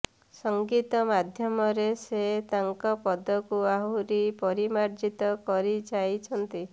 ସଙ୍ଗୀତ ମାଧ୍ୟମରେ ସେ ତାଙ୍କ ପଦକୁ ଆହୁରି ପରିମାର୍ଜିତ କରିଯାଇଛନ୍ତି